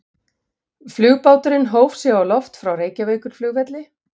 Flugbáturinn hóf sig á loft frá Reykjavíkurflugvelli.